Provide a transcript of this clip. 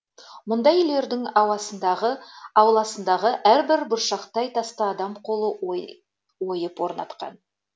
мұндай үйлердің ауласындағы әрбір бұршақтай тасты адам қолы ойып орнатқан